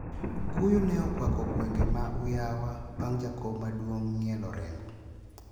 Kuyo ne okwako gwenge ma Uyawa bang` jakom maduong` ng`ielo orengo.